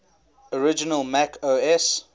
original mac os